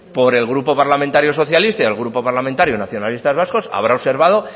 por el grupo parlamentario socialista y el grupo parlamentario nacionalistas vascos habrá observado